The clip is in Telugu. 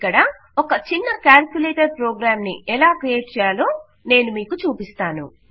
ఇక్కడ ఒక చిన్న క్యాల్కులేటర్ ప్రోగ్రాంని ఎలా క్రియేట్ చేయాలో నేను మీకు చూపిస్తాను